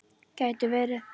Gæti verið.